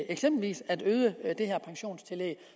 eksempelvis at øge det her pensionstillæg